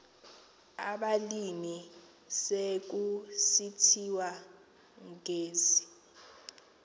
abalimi sekusithiwa ngezi